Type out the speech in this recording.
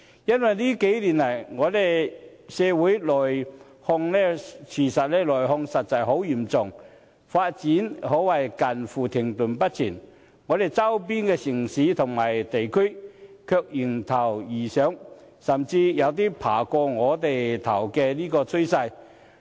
因為這些年來，我們社會內耗實在十分嚴重，發展可謂近乎停滯不前，但我們周邊的城市或地區，卻迎頭而上，甚至有超越我們的趨勢。